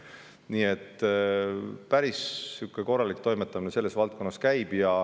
Nii et päris korralik toimetamine selles valdkonnas käib.